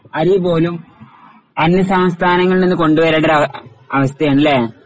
അരി പോലും അന്യസംസ്ഥാനങ്ങളിൽനിന്ന് കൊണ്ടുവരേണ്ടൊരു അവസ്ഥയാണ് അല്ലേ?